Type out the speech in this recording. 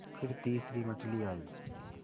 फिर तीसरी मछली आई